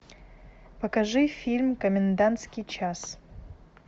покажи фильм комендантский час